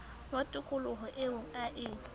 wa tokoloho eo a e